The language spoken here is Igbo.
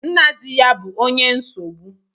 Nna di ya bu onye nsogbu